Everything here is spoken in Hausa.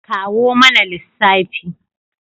Kawo mana lissafi!